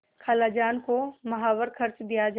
खालाजान को माहवार खर्च दिया जाय